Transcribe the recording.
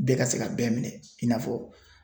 Bɛɛ ka se ka bɛɛ minɛ i n'a fɔ